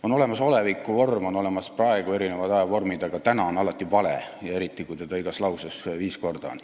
On olemas olevikuvorm, on olemas "praegu", erinevad ajavormid, aga "täna" on alati vale, eriti kui seda igas lauses viis korda on.